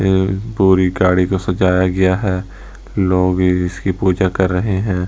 ये पूरी गाड़ी को सजाया गया है लोग इसकी पूजा कर रहे हैं।